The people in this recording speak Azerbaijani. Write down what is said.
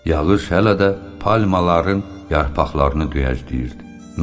Yağış hələ də palmaların yarpaqlarını döyəcləyirdi.